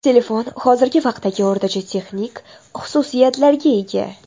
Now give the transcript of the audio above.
Telefon hozirgi vaqtdagi o‘rtacha texnik xususiyatlarga ega.